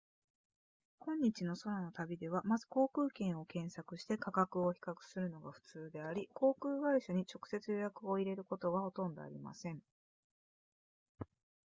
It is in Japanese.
今日の空の旅ではまず航空券を検索して価格を比較するのがふつうであり航空会社に直接予約を入れることはほとんどありません